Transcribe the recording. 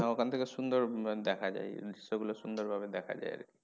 হ্যাঁ ওখান থেকে সুন্দর দেখা যায় দৃশ্য গুলো সুন্দর ভাবে দেখা যায় আরকি।